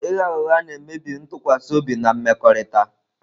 Ịgha ụgha na-emebi ntụkwasị obi na mmekọrịta.